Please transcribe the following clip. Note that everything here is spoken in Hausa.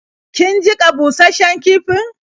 Kin jiƙa bushasshen kifin?